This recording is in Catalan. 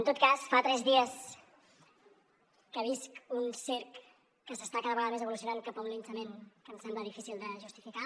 en tot cas fa tres dies que visc un circ que està cada vegada més evolucionant cap a un linxament que em sembla difícil de justificar